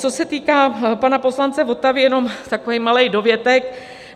Co se týká pana poslance Votavy, jenom takový malý dovětek.